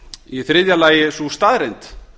í þriðja lagi sú staðreynd